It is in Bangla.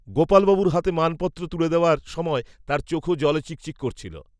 গোপালবাবুর হাতে মানপত্র তুলে দেওয়ার, সময়, তাঁর চোখও, জলে চিকচিক, করছিল